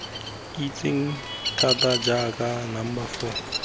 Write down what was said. itsegeng thata jaaka number four